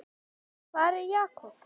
Hvar er Jakob?